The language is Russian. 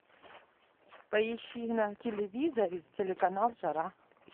поищи на телевизоре телеканал жара